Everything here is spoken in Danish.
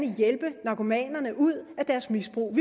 hjælpe narkomanerne ud af deres misbrug